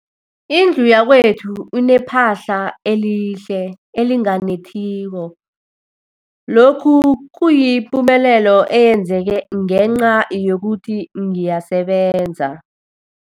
Indlu yakwethu inephahla elihle, elinganetheliko, lokhu kuyipumelelo eyenzeke ngenca yokuthi ngiyasebenza.